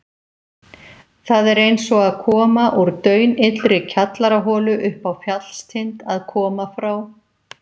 Það er einsog að koma úr daunillri kjallaraholu uppá fjallstind að koma frá